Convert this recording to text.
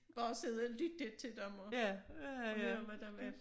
Bare sidde og lytte til dem og høre hvad der var